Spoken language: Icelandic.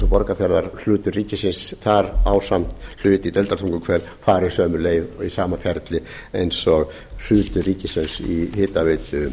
borgarfjarðar hlutur ríkisins þar ásamt hlut í deildartunguhver fari sömu leið og í sama ferli eins og hlutur ríkisins í hitaveitu